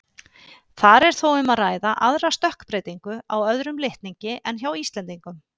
Þar er þó um að ræða aðra stökkbreytingu á öðrum litningi en hjá Íslendingum.